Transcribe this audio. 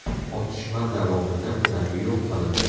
Otishma davomida ular yo‘q qilindi.